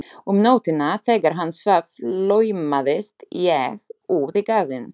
Um nóttina þegar hann svaf laumaðist ég út í garðinn.